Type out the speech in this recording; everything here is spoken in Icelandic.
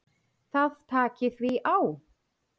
Það taki því á.